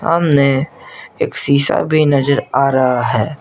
हमने एक शीशा भी नजर आ रहा है।